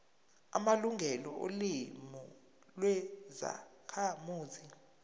amalungelo olimi lwezakhamuzi